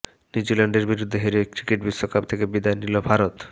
নিউজিল্যান্ডের বিরুদ্ধে হেরে ক্রিকেট বিশ্বকাপ থেকে বিদায় নিল ভারত